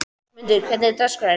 Rósmundur, hvernig er dagskráin?